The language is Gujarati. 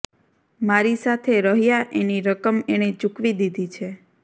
મારી સાથે રહ્યા એની રકમ એણે ચૂકવી દીધી છે